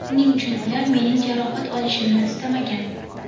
Shuning uchun ular mening jarohat olishimni istamagan.